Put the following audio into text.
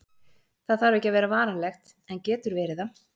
Það þarf ekki að vera varanlegt, en getur verið það.